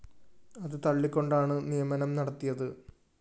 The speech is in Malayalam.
അത് തള്ളിക്കൊണ്ടാണ് നിയമനം നടത്തിയത്